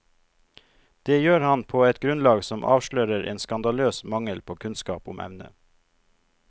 Det gjør han på et grunnlag som avslører en skandaløs mangel på kunnskap om emnet.